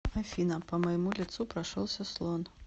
афина по моему лицу прошелся слон